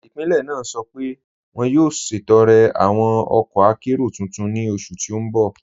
Ipílẹ̀ naa sọ́ pẹ̀ wọn yóò ṣẹtọ̀rẹ̀ awọn ọkọ̀ àkéró tuntun ni oṣù tí n bọ̀.